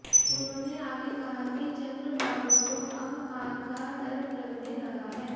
उन्होंने आगे कहा कि चंद्रबाबू को अब हार का डर लगने लगा है